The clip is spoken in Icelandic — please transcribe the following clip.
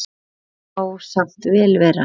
Það má samt vel vera.